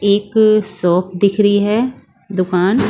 एक शॉप दिख रही है दुकान।